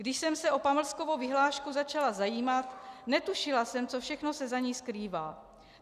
Když jsem se o pamlskovou vyhlášku začala zajímat, netušila jsem, co všechno se za ní skrývá.